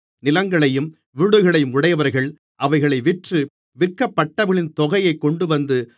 நிலங்களையும் வீடுகளையும் உடையவர்கள் அவைகளை விற்று விற்கப்பட்டவைகளின் தொகையைக் கொண்டுவந்து